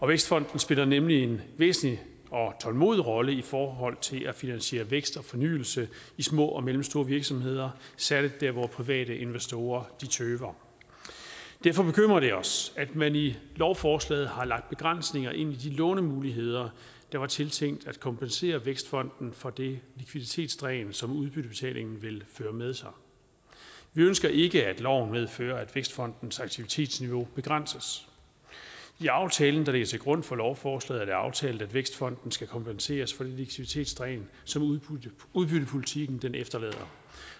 vækstfonden spiller nemlig en væsentlig og tålmodig rolle i forhold til at finansiere vækst og fornyelse i små og mellemstore virksomheder særlig der hvor private investorer tøver derfor bekymrer det os at man i lovforslaget har lagt begrænsninger ind i de lånemuligheder der var tiltænkt at kompensere vækstfonden for det likviditetsdræn som udbyttebetalingen vil føre med sig vi ønsker ikke at loven medfører at vækstfondens aktivitetsniveau begrænses i aftalen der ligger til grund for lovforslaget er det aftalt at vækstfonden skal kompenseres for det likviditetsdræn som udbyttepolitikken efterlader